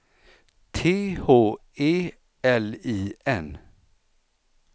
T H E L I N